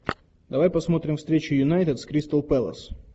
давай посмотрим встречу юнайтед с кристал пэлас